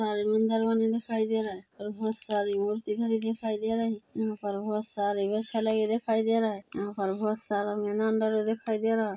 घर बने दिखाई दे रहे और बहोत सारी मूर्ति बनी दिखाई दे रही यहाँ पर बहोत सारे वृक्ष लगे दिखाई दे रहा है यहाँ पर बहोत सारा मैदान डला दिखाई दे रहा है।